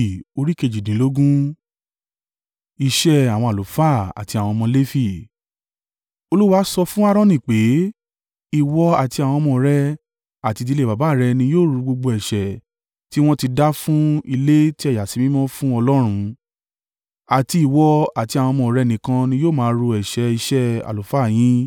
Olúwa sọ fún Aaroni pé, “Ìwọ, àti àwọn ọmọ rẹ àti ìdílé baba rẹ ni yóò ru gbogbo ẹ̀ṣẹ̀ tí wọ́n ti dá fún ilé tí a yà sí mímọ́ fún Ọlọ́run, àti ìwọ àti àwọn ọmọ rẹ nìkan ni yóò máa ru ẹ̀ṣẹ̀ iṣẹ́ àlùfáà yín.